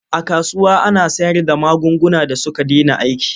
A kasuwa ana sayarda magunguna da suka dena aiki.